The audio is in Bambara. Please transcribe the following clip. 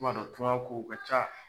Ma dɔn tuŋa kow ka ca